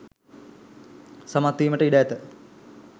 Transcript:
සමත් වීමට ඉඩ ඇත.